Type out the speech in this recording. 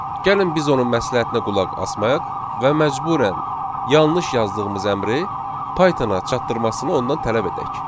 Gəlin biz onun məsləhətinə qulaq asmayaq və məcburən yanlış yazdığımız əmri Pythona çatdırmasını ondan tələb edək.